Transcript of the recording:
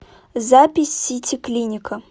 запись сити клиника